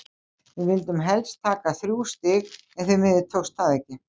Við vildum hélst taka þrjú stig en því miður tókst það ekki.